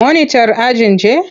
Monitar ajin ce.